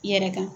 I yɛrɛ kan